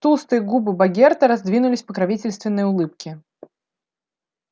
толстые губы богерта раздвинулись в покровительственной улыбке